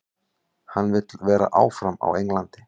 Hann vill vera áfram á Englandi.